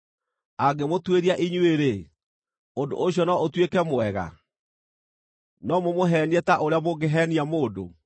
Angĩmũtuĩria inyuĩ-rĩ, ũndũ ũcio no ũtuĩke mwega? No mũmũheenie ta ũrĩa mũngĩheenia mũndũ?